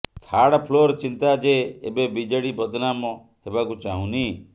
third floor ଚିନ୍ତା ଯେ ଏବେ ବିଜେଡି ବଦନାମ ହେବାକୁ ଚାହୁଁନି